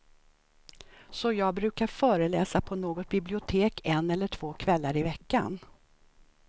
Så jag brukar föreläsa på något bibliotek en eller två kvällar i veckan.